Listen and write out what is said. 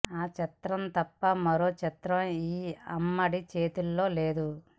ఆ చిత్రం తప్ప మరో చిత్రం ఈ అమ్మడి చేతిలో లేదు